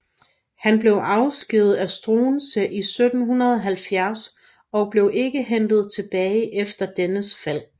Han blev afskediget af Struensee i 1770 og blev ikke hentet tilbage efter dennes fald